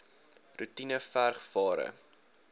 roetine verg ware